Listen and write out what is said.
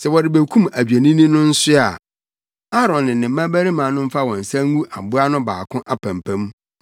“Sɛ wɔrebekum adwennini no nso a, Aaron ne ne mmabarima no mfa wɔn nsa ngu aboa no baako apampam